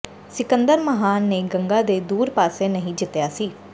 ਸਿਕੰਦਰ ਮਹਾਨ ਨੇ ਗੰਗਾ ਦੇ ਦੂਰ ਪਾਸੇ ਨਹੀਂ ਜਿੱਤਿਆ ਸੀ